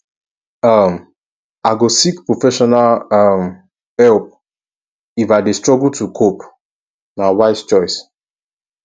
um i go seek professional um help if i dey struggle to cope na wise choice